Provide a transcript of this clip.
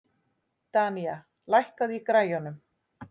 Danía, lækkaðu í græjunum.